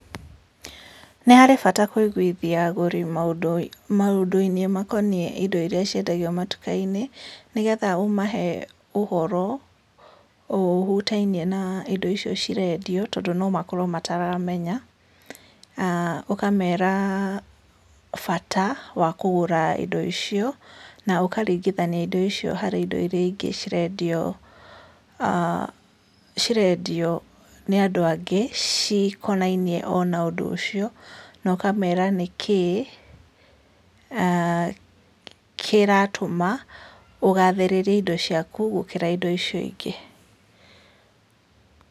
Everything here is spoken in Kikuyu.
Nĩ harĩ bata kũiguithia agũri maũndũ maũndũ-inĩ makoniĩ indo iria ciendagio matuka-inĩ, nĩ getha ũmahe ũhoro ũhutainie na indo icio cirendio, tondũ no makorwo mataramenya, aah ũkamera bata wa kũgũra indo icio, na ũkaringithania indo icio harĩ indo iria ingĩ cirendio aah cirendio nĩ andũ angĩ, cikonainie ona ũndũ ũcio, na ũkamera nĩkĩ aah kĩratũma, ũgathĩrĩrie indo ciaku gũkĩra indo icio ingĩ.